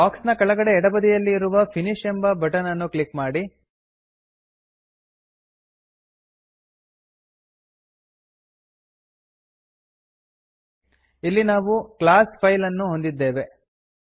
box ನ ಕೆಳಗಡೆ ಎಡಬದಿಯಲ್ಲಿ ಇರುವ ಫಿನಿಶ್ ಎಂಬ ಬಟನ್ ಅನ್ನು ಕ್ಲಿಕ್ ಮಾಡಿ ಇಲ್ಲಿ ನಾವು ಕ್ಲಾಸ್ ಫೈಲ್ ಅನ್ನು ಹೊಂದಿದ್ದೇವೆ